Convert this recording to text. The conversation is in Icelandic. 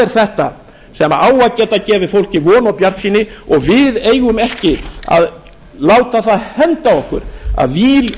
er þetta sem á að geta gefið fólki von og bjartsýni og við eigum ekki að láta það henda okkur að víl